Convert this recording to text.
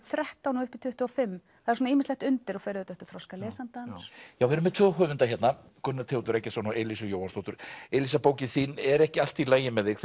þrettán og upp í tuttugu og fimm það er ýmislegt undir og fer auðvitað eftir þroska lesandans við erum með tvo höfunda hérna Gunnar Theodór Eggertsson og Elísu Jóhannsdóttur Elísa bókin þín er ekki allt í lagi með þig